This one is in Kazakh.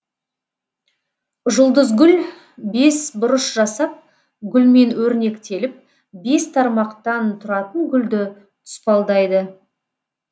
жұлдызгүл бес бұрыш жасап гүлмен өрнектеліп бес тармақтан тұратын гүлді тұспалдайды